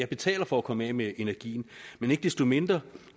betaler for at komme af med energien men ikke desto mindre